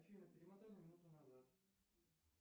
афина перемотай на минуту назад